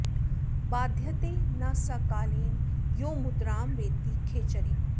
बाध्यते न स कालेन यो मुद्रां वेत्ति खेचरीम्